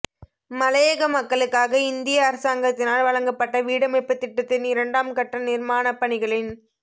மலையக மக்களுக்காக இந்திய அரசாங்கத்தினால் வழங்கப்பட்ட வீடமைப்பு திட்டத்தின் இரண்டாம் கட்ட நிர்மாணப்பணிகளின்